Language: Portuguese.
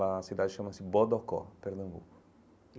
Lá a cidade chama-se Bodocó, Pernambuco.